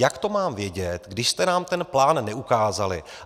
Jak to mám vědět, když jste nám ten plán neukázali?